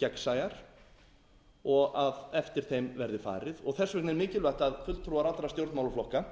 gegnsæjar og að eftir þeim verði farið þess vegna er mikilvæga að fulltrúar allra stjórnmálaflokka